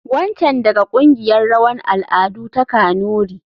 Wancan daga kungiyar rawan al'adu ta kanuri.